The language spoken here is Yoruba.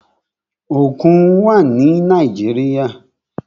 Òkun wà ni Nàíjíríà.